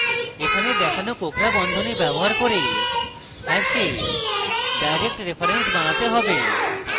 এখানে দেখানো কোঁকড়া বন্ধনী {} ব্যবহার করে hash direct reference বানাতে পারেন